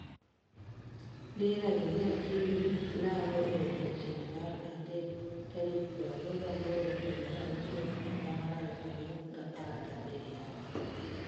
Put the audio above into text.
Dira Dunia TV lando e odiechieng' mar adek tarik 28.06.2017